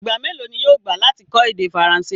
Ìgba mẹlọ̀ ni yóò gbà lati kọ èdè Faransé?